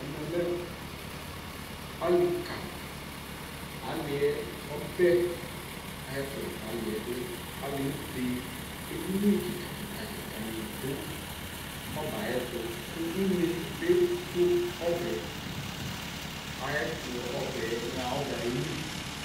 Ɛmɛ lɛ ali kaAli yɛ ɔbɛ ayɛ tu la ka li yɛ duAli ebeƐdini akikakikakika ni du ɔbɛ ayɛ tuKu une bi du ɔbɛ ayɛ tu Ɔbɛ ɣa ɔbɛ yɛ ali